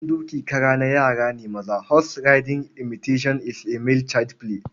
Wasan dokin kara na yara ne maza. Horse riding imitation is a male child play.